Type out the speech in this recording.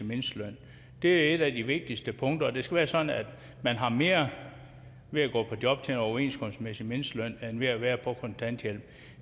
mindsteløn det er et af de vigtigste punkter det skal være sådan at man har mere ved at gå på job til en overenskomstmæssig mindsteløn end ved at være på kontanthjælp